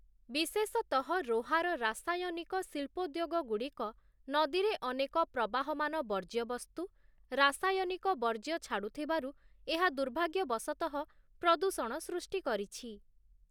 ବିଶେଷତଃ ରୋହାର ରାସାୟନିକ ଶିଳ୍ପୋଦ୍ୟୋଗଗୁଡ଼ିକ ନଦୀରେ ଅନେକ ପ୍ରବହମାନ ବର୍ଜ୍ୟବସ୍ତୁ, ରାସାୟନିକ ବର୍ଜ୍ୟ ଛାଡ଼ୁଥିବାରୁ, ଏହା ଦୁର୍ଭାଗ୍ୟବଶତଃ ପ୍ରଦୂଷଣ ସୃଷ୍ଟି କରିଛି ।